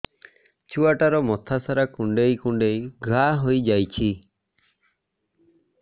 ଛୁଆଟାର ମଥା ସାରା କୁଂଡେଇ କୁଂଡେଇ ଘାଆ ହୋଇ ଯାଇଛି